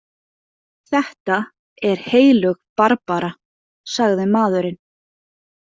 Þetta er heilög Barbara, sagði maðurinn.